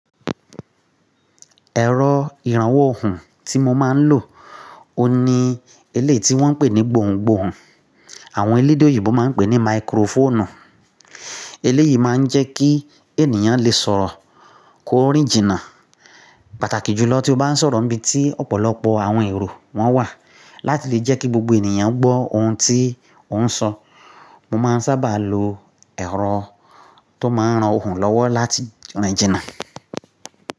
Ẹ̀rọ ìrànwọ́ ohùn tí mo máa ń lò oun ní, eléyi tí wọ́n ń pè ní gbòhùn-gbòhùn, àwọn elédè òyìnbó máa ń pè ní microphone. Eléyìí máa ń jẹ́ kí ènìyàn lè sọ̀rọ̀ ko rin jìnnà. Pàtàkì jùlọ tí ó bá ń sọ̀rọ̀ níbi tí ọ̀pọ̀lọpọ̀ àwọn èrò wọ́n wà láti lè jẹ́ kí gbogbo ènìyàn gbọ́ ohùn tí ó ń sọ. Mo máa ń sábà lo ẹ̀rọ tó máa ń ran ohùn lọ́wọ́ láti rín jìnnà.